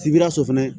Sibikaso fana